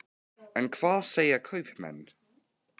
En hvað segja kaupmenn?